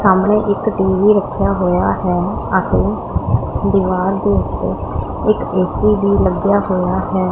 ਸਾਹਮਣੇ ਇਕ ਟੀ_ਵੀ ਰੱਖਿਆ ਹੋਇਆ ਹੈ ਅਤੇ ਦੀਵਾਰ ਦੇ ਉੱਤੇ ਇੱਕ ਏ_ਸੀ ਵੀ ਲੱਗਿਆ ਹੋਇਆ ਹੈ।